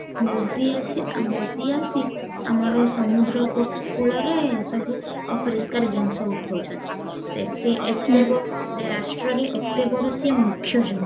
ମୋଦୀ ଆସି ମୋଦୀ ଆସିକି ଆମର ସମୁଦ୍ର କୂ କୂଳରେ ସବୁ ଅପରିଷ୍କାର ଜିନିଷ ଉଠଉଛନ୍ତି ଦେଖ ସେ ରାଷ୍ଟ୍ରରେ ଏତେ ବଡ ସେ ମୁଖ୍ୟ ଜଣେ